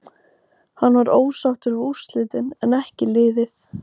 Hann var ósáttur við úrslitin en en ekki liðið.